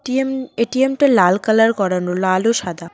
ATM ATM -টা লাল colour করানো লাল ও সাদা।